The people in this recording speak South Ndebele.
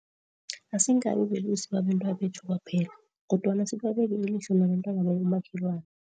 Asingabi belusi babentwabethu kwaphela, kodwana sibabeke ilihlo nabentwana babomakhelwana.